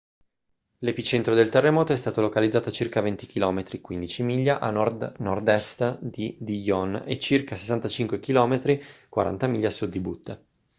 l'epicentro del terremoto è stato localizzato a circa 20 km 15 miglia a nord-nord est di dillon e a circa 65 km 40 miglia a sud di butte